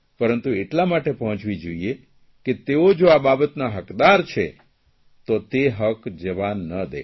પરંતુ એટલા માટે પહોંચવી જોઇએ કે તેઓ જો આ બાબતના હકદાર છે તો તે હક જવા ન દે